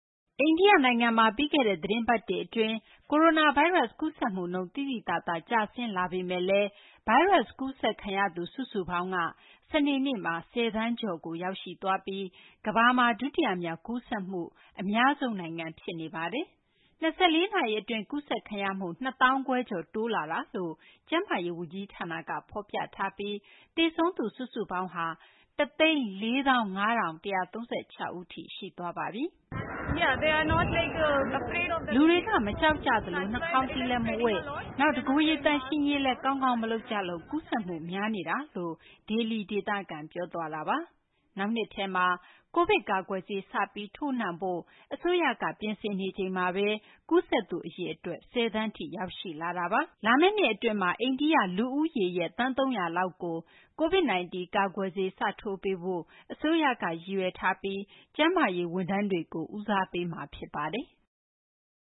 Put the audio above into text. အိန္ဒိယနိုင်ငံမှာ ပြီးခဲ့တဲ့ သီတင်းပတ်တွေအတွင်း ကိုရိုနာဗိုင်းရပ်စ် ကူးစက်မှုနှုန်း သိသိသာသာ ကျဆင်းလာပေမယ့်လည်း ကိုရိုနာဗိုင်းရပ်စ် ကူးစက်ခံရသူ စုစုပေါင်းက စနေနေ့မှာ ၁၀ သန်းကျော်သွားပြီး ကမ္ဘာမှာ ဒုတိယမြောက် ကူးစက်ဖြစ်ပွားမှု အများဆုံးနိုင်ငံ ဖြစ်နေပါတယ်။ ၂၄ နာရီအတွင်း ကူးစက်ခံရမှု ၂၅,၀၀၀ ကျော် တိုးလာတယ်လို့ ကျန်းမာရေးဝန်ကြီးဌာနက ဖော်ပြထားပြီး သေဆုံးသူ စုစုပေါင်း ၁၄၅,၁၃၆ ဦးထိ ရှိသွားပါပြီ။ “လူတွေက မကြောက်ကြသလို နှာခေါင်စည်းလည်း မဝတ်၊ နောက် တကိုယ်ရေ သန့်ရှင်းရေးလည်း ကောင်းကောင်းမလုပ်ကြလို့ ကူးစက်မှု များနေတာပါ” လို့ ဒေလီဒေသခံ ပြောသွားတာပါ။ နောက်နှစ်ထဲမှာ ကိုဗစ်ကာကွယ်ဆေး စပြီးထိုးနှံဖို့ အစိုးရက ပြင်ဆင်နေချိန်မှာပဲ ကူးစက်သူအရေအတွက် ၁၀ သန်းထိ ရောက်ရှိလာတာပါ။ လာမယ့်နှစ်အတွင်း အိန္ဒိယလူဦးရေ သန်း ၃၀၀ လောက်ကို COVID-19 ကာကွယ်ဆေး စထိုးပေးဖို့ အစိုးရက ရည်ရွယ်ထားပြီး ကျန်းမာရေးဝန်ထမ်းတွေကို ဦးစားပေးမှာ ဖြစ်ပါတယ်။